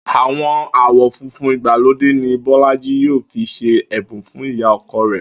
Àwon awo funfun ìgbàlódé ni Bó̩lájí yóò fi s̩e è̩bùn fún ìyá o̩ko̩ rè̩